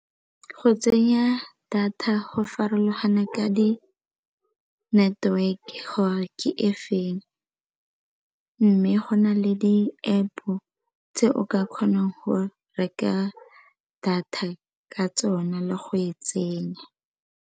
Go tsenya data go farologana ka di-network ga ke e feng mme go na le di-App-o tse o ka kgonang go reka data ka tsona le go e tsenya.